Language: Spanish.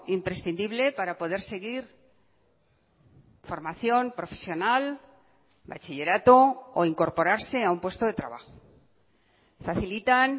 imprescindible para poder seguir formación profesional bachillerato o incorporarse a un puesto de trabajo facilitan